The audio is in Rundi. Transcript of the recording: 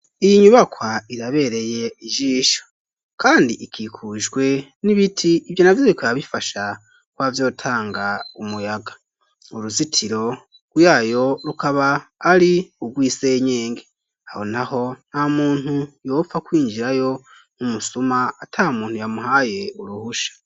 Iyi nyubakwa irabereye ijisho kandi ikikujwe n'ibiti ivyo navyo bikaba bifasha kuba vyotanga umuyaga uruzitiro rwayo rukaba ari ubwisenyenge aho naho nta muntu yopfa kwinjirayo nk'umusuma ata muntu yamuhaye uruhusha.